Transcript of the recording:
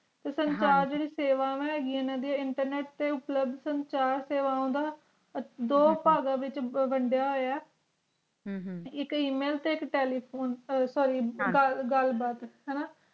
ਤੇ ਸੰਸਾਰ ਹਨ ਜੀ ਦੀਆ ਸੇਵਾ ਹੈਗੀਆਂ internet plub incharg ਦੋ ਪਗਾਂ ਵਿਚ ਵਾਨ੍ਦ੍ਯਾ ਹੋਯਾ ਹਮ ਇਕ email ਟੀ ਇਕ telephone sory ਆਹ ਗਲ ਬਾਤ ਹਾਨਾ